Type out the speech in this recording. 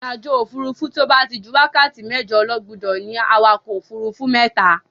Ìrìnàjò òfuurufú tí ó bá ti ju wákàtí mẹ́jọ lọ gbúdọ̀ ní awakọ̀ òfuurufú mẹ́ta